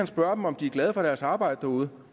spørge dem om de er glade for deres arbejde derude